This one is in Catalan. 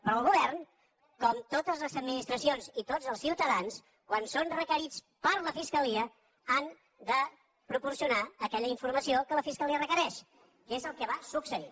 però el govern com totes les administracions i tots els ciutadans quan són requerits per la fiscalia han de proporcionar aquella informació que la fiscalia requereix que és el que va succeir